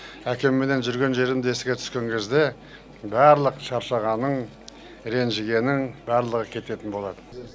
әкемменен жүрген жерімді еске түскен кезде барлық шаршағаның ренжігенің барлығы кететін болады